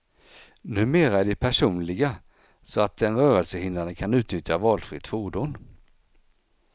Numera är de personliga, så att den rörelsehindrade kan utnyttja valfritt fordon.